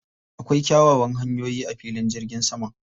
Akwai kyawawan hanyoyi a filin jirgin saman.